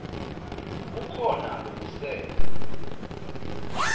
kukhona lokusele